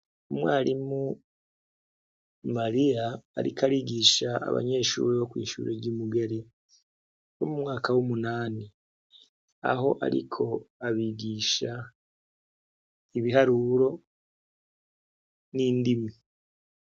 Umwarimu mariya ariko arigisha abanyeshure bo kw'ishure ry'imugere bo mu mwaka w'umunani, aho ariko abigisha ibiharuro n'indimi.